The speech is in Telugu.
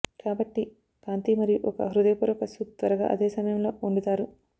కాబట్టి కాంతి మరియు ఒక హృదయపూర్వక సూప్ త్వరగా అదే సమయంలో వండుతారు